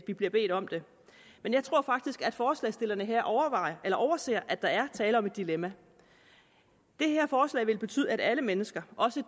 vi bliver bedt om det jeg tror faktisk at forslagsstillerne her overser at der er tale om et dilemma det her forslag vil betyde at alle mennesker også